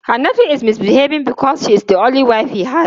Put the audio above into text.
Hannatu is misbehaving because she is the only wive he has.